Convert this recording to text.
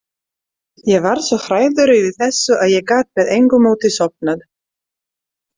Ég varð svo hrærður yfir þessu að ég gat með engu móti sofnað.